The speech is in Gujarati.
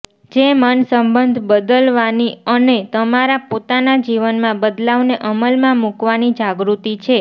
જે મનસંબંધ બદલવાની અને તમારા પોતાના જીવનમાં બદલાવને અમલમાં મૂકવાની જાગૃતિ છે